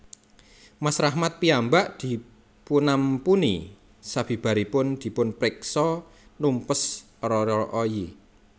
Mas Rahmat piyambak dipunampuni sabibaripun dipunpeksa numpes Rara Oyi